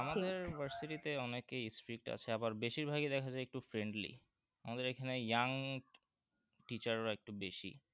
আমাদের versity তে অনেকেই strict আছে আবার বেশির ভাগই দেখা যায় একটু friendly আমাদের এখানে young teacher রা একটু বেশি